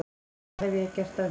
Hvað hef ég gert af mér?